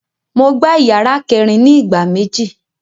Mo gbá ìyàrá kẹẹ̀rin ni ìgbà méjì